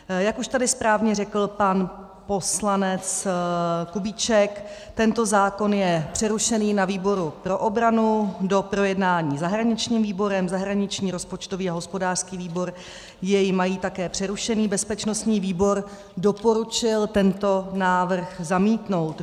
Jak už tady správně řekl pan poslanec Kubíček, tento zákon je přerušený na výboru pro obranu, k doprojednání zahraničním výborem, zahraniční, rozpočtový a hospodářský výbor jej mají také přerušený, bezpečnostní výbor doporučil tento návrh zamítnout.